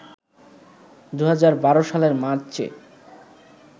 ২০১২ সালের মার্চে